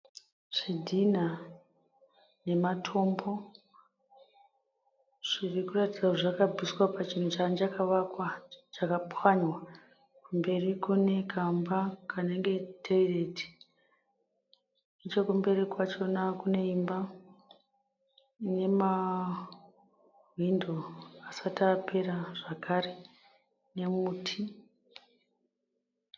Zvidhina nematombo zviri kuratidza kuti zvakabviswa pachinhu change chakavakwa chakapwanywa. Mberi kune kamba kanenge toyireti. Nechokumberi kwachona kune imba ine mahwindo asati apera zvakare nomuti.